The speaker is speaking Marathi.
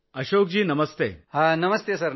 अशोक जी नमस्तेनमस्ते ।